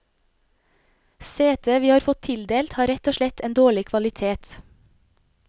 Setet vi har fått tildelt har rett og slett en dårlig kvalitet.